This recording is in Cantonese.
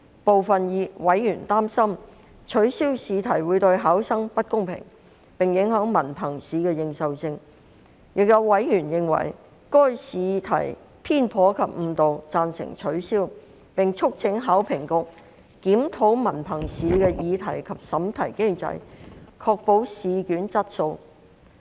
部分委員擔心，取消試題會對考生不公平，並影響文憑試的認受性，亦有委員認為，由於該試題偏頗及誤導，因此贊成取消，並促請考評局檢討文憑試的擬題及審題機制，以確保試卷質素。